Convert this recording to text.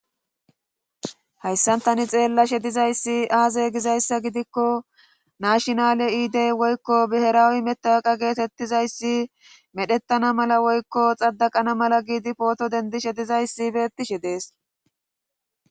hayssantani xeella she dizayssi aaze gizayssa gidikko nashinale iidey woykko biheraawi metawaqa geetettizayssi medhettana mala woykko xaddaqana mala giidi pooto dendishe dizayssi beettishe dees